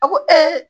A ko